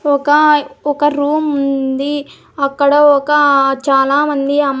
ఒక ఒక రూమ్ ఉంది అక్కడ ఒక చాలా మంది అం--